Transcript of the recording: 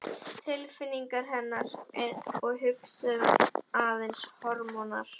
Tilfinningar hennar og hugsun aðeins hormónar?